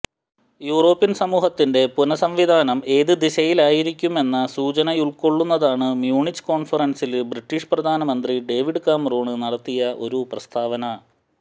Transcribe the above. European സമൂഹത്തിന്റെ പുനസംവിധാനം ഏതു ദിശയിലായിരിക്കുമെന്ന സൂചനയുള്ക്കൊള്ളുന്നതാണ് മ്യൂണിച്ച് കോണ്ഫറന്സില് ബ്രിട്ടീഷ് പ്രധാനമന്ത്രി ഡേവിഡ് കാമറൂണ് നടത്തിയ ഒരു പ്രസ്താവന